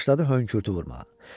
Başladı hönkürtü vurmağa.